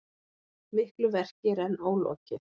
Miklu verki er enn ólokið